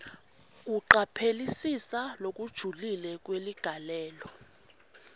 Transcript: kucaphelisisa lokujulile kweligalelo